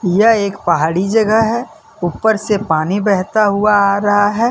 यह एक पहाड़ी जगह है ऊपर से पानी बहता हुआ आ रहा है ।